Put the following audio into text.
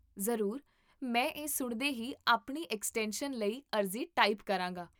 ਜ਼ਰੂਰ, ਮੈਂ ਇਹ ਸੁਣਦੇ ਹੀ ਆਪਣੀ ਐਕਸਟੈਂਸ਼ਨ ਲਈ ਅਰਜ਼ੀ ਟਾਈਪ ਕਰਾਂਗਾ